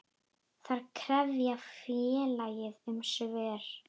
Þær krefja félagið um svör.